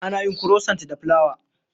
Ana yin kurosant da fulawa.